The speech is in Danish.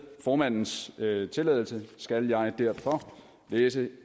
formandens tilladelse skal jeg derfor læse